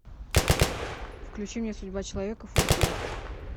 включи мне судьба человека фор кей